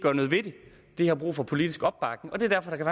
har brug for politisk opbakning det er derfor at der